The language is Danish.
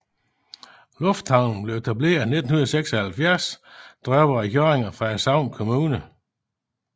Lufthavnen blev etableret i 1976 drevet af Hjørring og Frederikshavn Kommune